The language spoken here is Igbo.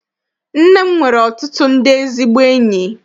Nne m nwere ọtụtụ ndị ezigbo enyi.